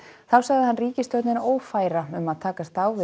þá sagði hann ríkisstjórnina ófæra um að takast á við